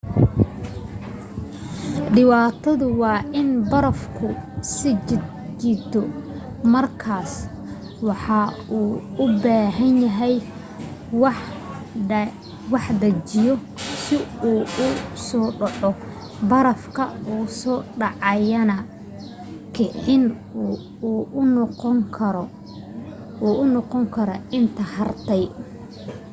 dhibaatadu waa in barafku isjiid-jiito markaas waxa uu u baahanyahay wax dhaqaajiya si uu u soo dhaco barafka soo dhacayaana kicin u noqon kara inta hartay